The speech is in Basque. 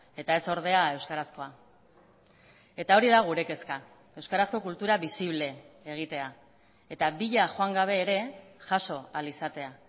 eta ez ordea euskarazkoa eta hori da gure kezka euskarazko kultura bisible egitea eta bila joan gabe ere jaso ahal izatea